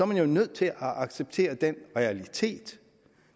man jo nødt til at acceptere den realitet